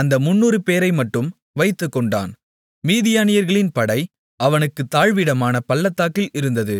அந்த 300 பேரைமட்டும் வைத்துக்கொண்டான் மீதியானியர்களின் படை அவனுக்குத் தாழ்விடமான பள்ளத்தாக்கில் இருந்தது